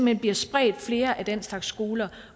hen bliver spredt flere af den slags skoler